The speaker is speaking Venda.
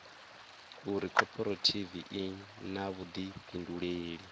uri khophorethivi i na vhuḓifhinduleli